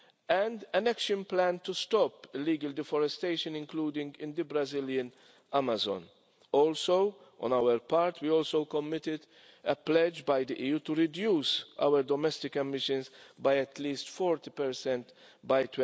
and an action plan to stop illegal deforestation, including in the Brazilian Amazon. On our part, we also committed a pledge by the EU to reduce our domestic emissions by at least 40 by